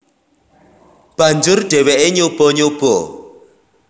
Banjur dheweke nyoba nyoba